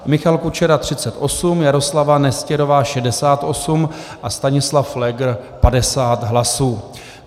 Michal Kučera 38, Jaroslava Nestěrová 68 a Stanislav Pfléger 50 hlasů.